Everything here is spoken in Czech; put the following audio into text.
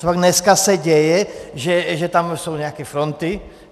Copak dneska se děje, že tam jsou nějaké fronty?